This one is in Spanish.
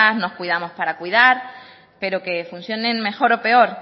nos cuidamos para cuidar pero que funcionen mejor o peor